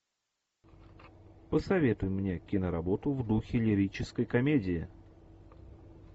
посоветуй мне киноработу в духе лирической комедии